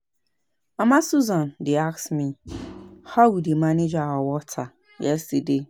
Mama Susan dey ask me how we dey manage our water yesterday